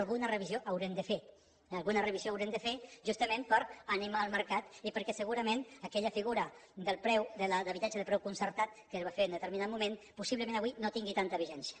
alguna revisió haurem de fer justament per animar el mercat i perquè segurament aquella figura d’habitatge de preu concertat que es va fer en determinant moment possiblement avui no tingui tanta vigència